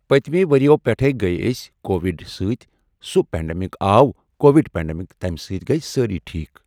پٔتمہِ ؤرۍیٕو پٮ۪ٹھٕے گٔے اسۍ کووِڈ سۭتۍ سُہ پینٛڈَمِک آو کووِڈ پینٛڈَمِک تمہِ سۭتۍ گٔے سٲرٕے ٹھیک۔